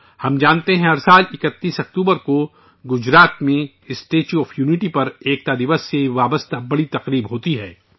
ہم جانتے ہیں کہ ہر سال 31 اکتوبر کو گجرات میں اسٹیچو آف یونٹی پر ایکتا دیوس سے جڑا بنیادی پروگرام ہوتا ہے